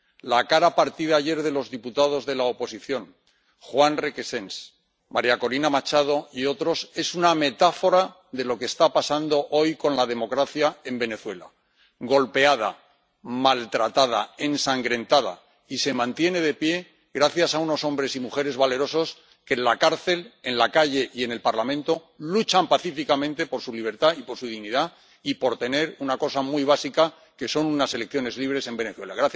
La cara partida ayer de los diputados de la oposición Juan Requesens, María Corina Machado y otros es una metáfora de lo que está pasando hoy con la democracia en Venezuela golpeada, maltratada y ensangrentada, se mantiene de pie gracias a unos hombres y mujeres valerosos que en la cárcel, en la calle y en el Parlamento luchan pacíficamente por su libertad y por su dignidad y por tener una cosa muy básica que son unas elecciones libres en Venezuela.